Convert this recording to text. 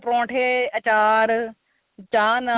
ਪਰੋਂਠੇ ਅਚਾਰ ਚਾਹ ਨਾਲ